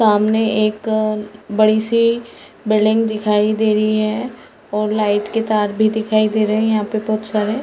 सामने एक बड़ी सी बिल्डिंग दिखाई दे रही है और लाइट के तार भी दिखाई दे रही है यहाँ पे बहोत सारे।